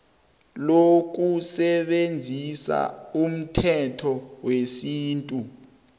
lokusebenzisa umthetho wesintu